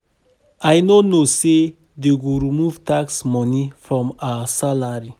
I no know say dey go remove tax money from our salary